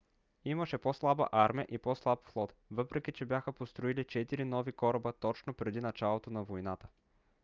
имаше по - слаба армия и по - слаб флот въпреки че бяха построили четири нови кораба точно преди началото на войната